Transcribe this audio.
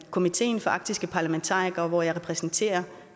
i komiteen for arktiske parlamentarikere hvor jeg repræsenterer